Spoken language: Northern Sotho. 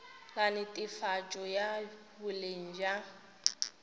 la netefatšo ya boleng bja